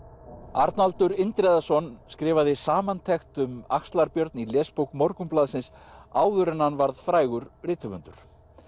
Arnaldur Indriðason skrifaði samantekt um axlar Björn í lesbók Morgunblaðsins áður en hann varð frægur rithöfundur